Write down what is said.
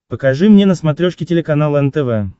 покажи мне на смотрешке телеканал нтв